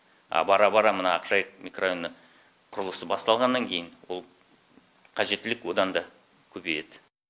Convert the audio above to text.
а бара бара мына ақжайық микрорайоны құрылысы басталғаннан кейін ол қажеттілік одан да көбейеді